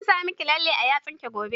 Zan sa miki lalle a yatsun ki gobe.